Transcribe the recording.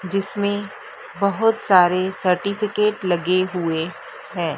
जिसमें बहोत सारे सर्टिफिकेट लगे हुए हैं।